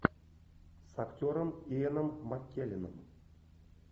с актером иэном маккелленом